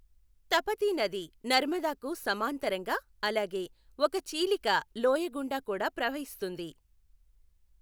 తపతీ నది నర్మదాకు సమాంతరంగా, అలాగే ఒక చీలిక లోయ గుండా కూడా ప్రవహిస్తుంది.